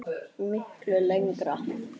Miklu lengra.